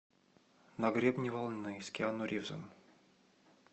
на гребне волны с киану ривзом